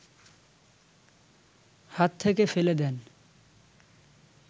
হাত থেকে ফেলে দেন